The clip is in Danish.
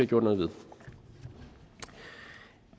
gjort noget ved